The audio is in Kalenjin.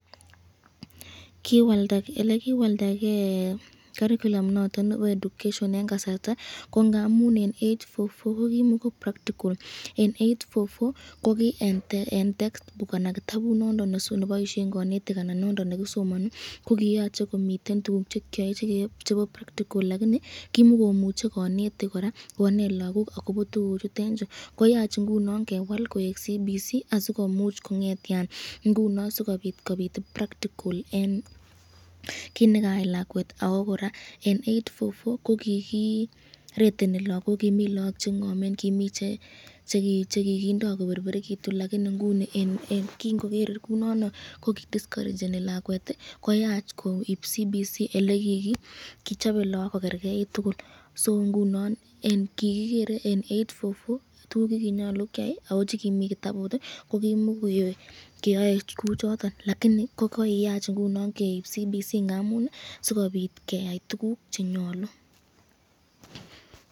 Elekiwaldake curriculum noton nebo education en kasarta ko ngamun en eight-four-four ko kimoo practical, en eight-four-four ko kii en text book anan kitabut nondon neboishen konetik anan noton nekisomoni ko koyoche komiten tukuk chekeyoe chebo practical lakinii kimokomuche konetik kora koneet ak kobo tukuchuton chuu, koyach ingunon kewaal koik CBC asikomuch kongetian ng'unon asikobiit practical en kiit nekayai lakwet ak ko kora en eight-four-four ko kikireteni lokok kimii look cheng'omen kimii chekikindo koberberekitun lakinii inguni en king'oker kounono ko kii diskorecheni lakwet koyach koib CBC elekikichobe look ko kerkeit tukul, soo ng'unon kikikeree eight-four-four tukuk chekinyolu keyai ak ko chekimii kitabut kokimokoyoe kiyoe kochoton lakinii kokiyach keib ng'unon CBC ng'amun sikobit keyai tukuk chenyolu.